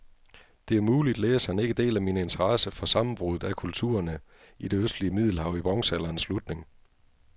Det er muligt, læseren ikke deler min interesse for sammenbruddet af kulturerne i det østlige middelhav i bronzealderens slutning.